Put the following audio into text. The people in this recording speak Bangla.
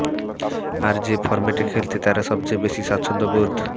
আর যে ফরম্যাটে খেলতে তারা সবচেয়ে বেশি স্বাচ্ছন্দ্য বোধ